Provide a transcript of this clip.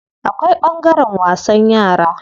Akwai ɓangaren wasan yara.